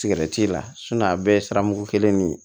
Sigɛrɛti la a bɛɛ ye siramu kelen de ye